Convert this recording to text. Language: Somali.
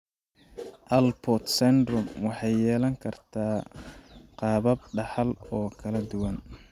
Alport syndrome waxay yeelan kartaa qaabab dhaxal oo kala duwan.